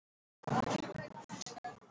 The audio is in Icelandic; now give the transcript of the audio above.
Skrifaðu og segðu okkur hvernig þú hefur það.